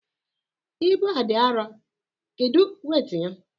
Ibu a adị arọ, kedu weit ya?